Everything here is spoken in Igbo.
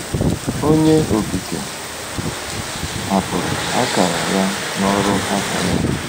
Onye Okike hapụrụ akara ya n’ọrụ aka ya.